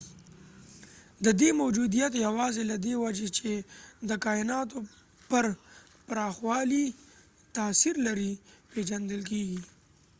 ددې موجودیت یواځې له دې وجې چې د کایناتو پر پراخوالي تاثیر لري پیژندل کیږي